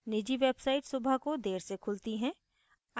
निजी websites सुबह को देर से खुलती हैं